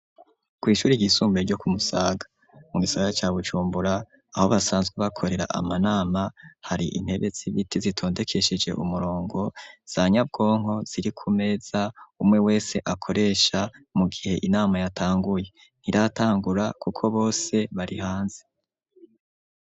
Kw'ishuri ryisumbuye, ryo ku Musaga, mu gisagara ca Bujumbura, aho basanzwe bakorera amanama, hari intebe z'ibiti, zitondekesheje umurongo, za nyabwonko, ziri ku meza, umwe wese akoresha, mu gihe inama yatanguye; ntiratangura kuko bose bari hanze.